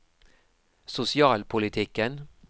sosialpolitikken